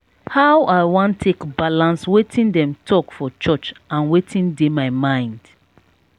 how i wan take balance wetin dem talk for church and wetin dey my mind?